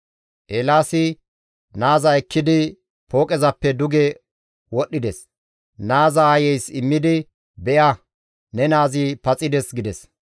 Eelaasi naaza ekkidi pooqezappe duge wodhdhides; naaza aayeys immidi, «Be7a! Ne naazi paxides» gides.